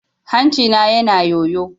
Hancina na yana yayyo.